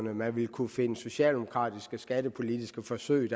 at man vil kunne finde socialdemokratiske skattepolitiske forsøg